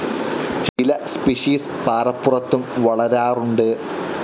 ചില സ്പെസിസ്‌ പാറപ്പുറത്തും വളരാറുണ്ട്.